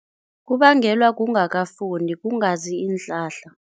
Kungabengelwa kungakafundi, kungazi iinhlahla.